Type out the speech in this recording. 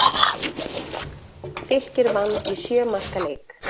Fylkir vann í sjö marka leik